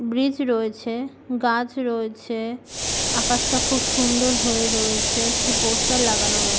bridge রয়েছে গাছ রয়েছে আকাশটা খুব সুন্দর হয়ে রয়েছে একটি পোস্টার লাগানো রয়ে--